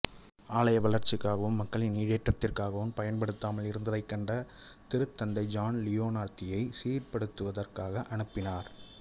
ஆலய வளர்ச்சிக்காகவும் மக்களின் ஈடேற்றத்திற்காகவும் பயன்படுத்தாமல் இருந்ததைக் கண்ட திருத்தந்தை ஜான் லியோனார்தியை சீர்ப்படுத்துவதற்காக அனுப்பினார்